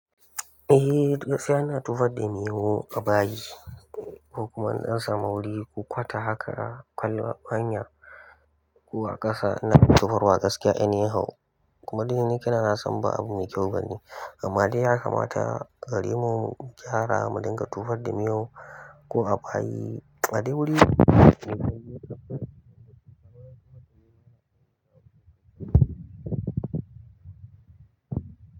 Eh gaskiya ina tufar da miyau a bayi. Ko kuma na ɗan samu wuri ko kwata haka a kwana hanya ko a ƙasa ina tufarwa gaskiya a ni hau. Kuma dai ni kai na, na san ba abu mai kyau bane, amma dai ya kamata gare mu mu gyara mu dinga tufar da miyau ko a bayi a dai wuri.